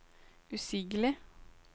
usigelig